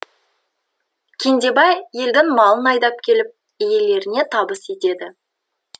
кендебай елдің малын айдап келіп иелеріне табыс етеді